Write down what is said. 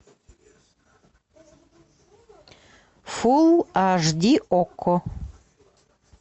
фулл аш ди окко